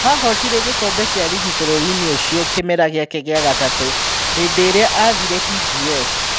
Ahootire gĩkombe kĩa rigi bũrũriinĩ ũcio kĩmera gĩake gĩa gatatũ hĩndĩrĩa athiire TGS.